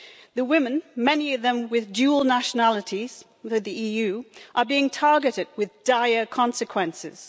The women, many of them with dual nationalities that are EU, are being targeted with dire consequences.